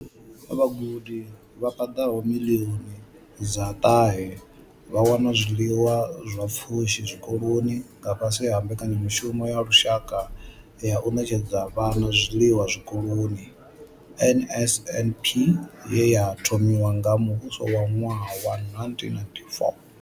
Vhagudi vha paḓaho miḽioni dza ṱahe vha wana zwiḽiwa zwa pfushi zwikoloni nga fhasi ha mbekanyamushumo ya lushaka ya u ṋetshedza vhana zwiḽiwa zwikoloni NSNP ye ya thomiwa nga muvhuso nga ṅwaha wa 1994.